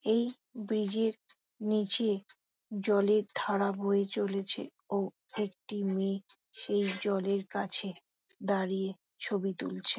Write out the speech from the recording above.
এই ব্রিজ -এর নিচে জলের ধারা বয়ে চলেছে |ও একটি মেয়ে সেই জলের কাছে দাঁড়িয়ে ছবি তুলছে ।